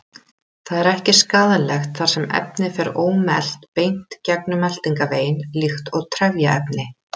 Það er ekki skaðlegt þar sem efnið fer ómelt beint gegnum meltingarveginn líkt og trefjaefni.